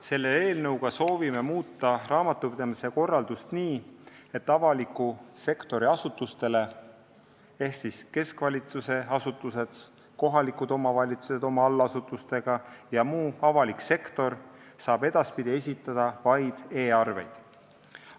Selle eelnõuga soovime muuta raamatupidamise korraldust nii, et avaliku sektori asutustele – keskvalitsuse asutused, kohalikud omavalitsused oma allasutustega ja muu avalik sektor – saab edaspidi esitada vaid e-arveid.